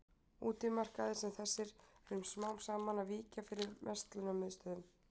Útimarkaðir sem þessi eru smám saman að víkja fyrir verslunarmiðstöðvum.